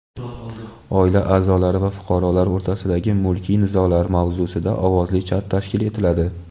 "Oila a’zolari va fuqarolar o‘rtasidagi mulkiy nizolar" mavzusida ovozli chat tashkil etiladi!.